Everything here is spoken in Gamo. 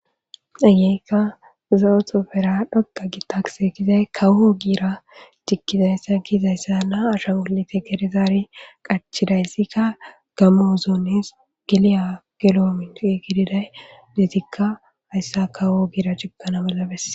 Ayeykka za'oto fera dhoqa gi taksetizay kawho giira cikizayssa giizayssa na asha wolete gerizaari qachidayssikka gamo zoones giliya giloomior giididay deetikka hayssa kawo giira cikana balabes